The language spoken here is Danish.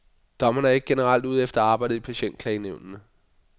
Dommerne er ikke generelt ude efter arbejdet i patientklagenævnene.